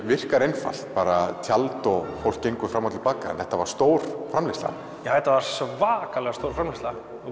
virkar einfalt bara tjald og fólk gengur fram og til baka en þetta var stór framleiðsla já þetta var svakalega stór framleiðsla